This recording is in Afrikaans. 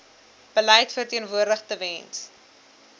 beleid verteenwoordig tewens